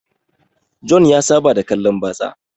Jona ya Saba da kallan batsa